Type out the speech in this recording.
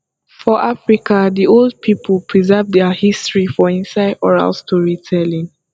for africa di old pipo preserve their history for inside oral story telling